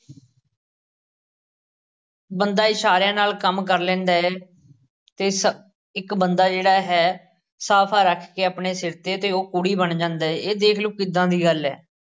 ਬੰਦਾ ਇਸ਼ਾਰਿਆਂ ਨਾਲ ਕੰਮ ਕਰ ਲੈਂਦਾ ਏ ਅਤੇ ਸ~ ਇੱਕ ਬੰਦਾ ਜਿਹੜਾ ਹੈ ਸਾਫ਼ਾ ਰੱਖ ਕੇ ਆਪਣੇ ਸਿਰ 'ਤੇ ਅਤੇ ਉਹ ਕੂਲੀ ਬਣ ਜਾਂਦਾ ਏ ਇਹ ਦੇਖਲੋ ਕਿਦਾਂ ਦੀ ਗੱਲ ਏ,